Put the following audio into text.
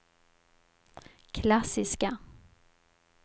klassiska